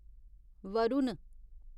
Varun